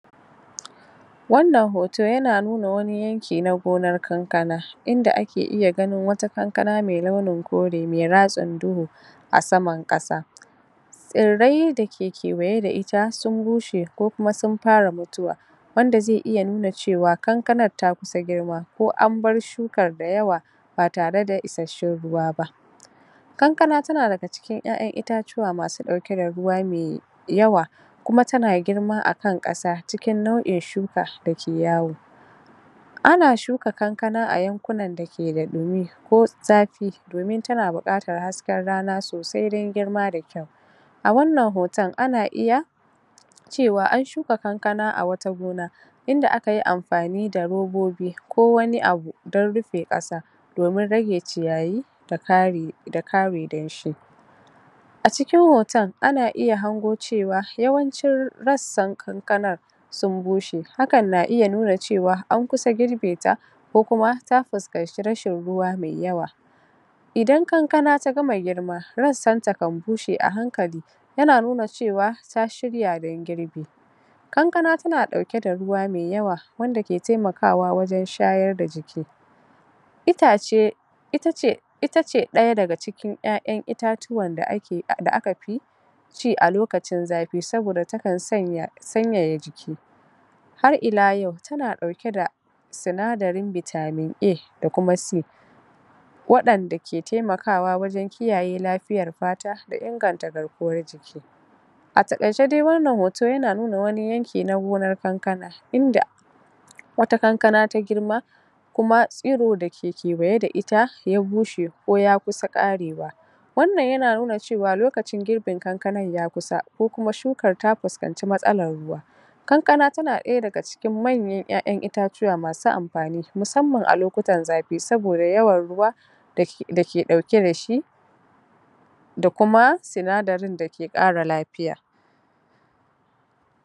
wannan hoto yana nuna wani yanki na gonar kankana inda ake iya ganin wata kankana me launin kore me ratsen duhu a saman ƙasa tsirrai da ke kewaye da ita sun bushe ko kuma sun fara mutuwa wanda ze iya nuna cewa kankanar ta kusa girma ko an bar shukar da yawa ba tare da isashshen ruwa ba kankana tana daga cikin ƴaƴan itatuwa masu ɗauke da ruwa me yawa kuma tana girma a kan ƙasa cikin nau'in shuka dake yawo ana shuka kankana a yankunan da ke da ɗumi ko zafi domin tana buƙatar hasken rana sosai dan girma da kyau a wannan hoton ana iya cewa an shuka kankana a wata gona inda aka yi amfani da robobi ko wani abu don rufe ƙasa domin rage ciyayi da kare da kare danshi a cikin hotan ana iya hango cewa yawancin rassan kankanar sun bushe hakan na iya nuna cewa an kusa girbe ta ko kuma ta fuskanci rashin ruwa me yawa idan kankana ta gama girma rassan ta kan bushe a hankali yana nuna cewa ta shirya dan girbi kankana tana ɗauke da ruwa me yawa wanda ke temakawa wajen shayar da jiki itace ita ce ita ce ɗaya daga cikin ƴaƴan itatuwan da aka fi ci a lokacin zafi saboda takan sanya sanyaya jiki har ila yau tana ɗauke da sinadarin vitamin A da kuma C waɗanda ke temakawa wajen kiyaye lafiyar fata da inganta garkuwar jiki a taƙaice dai wannan hoton yana nuna wani yanki na gonar kankana inda wata kankana ta girma kuma tsiro da ke kewaye da ita ya bushe ko ya kusa ƙarewa wannan yana nuna cewa lokacin girbin kankanan ya kusa ko kuma shukar ta fuskanci matsalar ruwa kankana tana ɗaya daga cikin manyan ƴaƴan itatuwa masu amfani musamman a lokutan zafi saboda yawan ruwa da ke ɗauke da shi da kuma sinadarin da ke ƙara lafiya